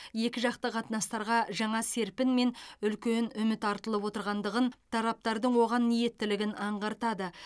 екіжақты қатынастарға жаңа серпін мен үлкен үміт артылып отырғандығын тараптардың оған ниеттілігін аңғартады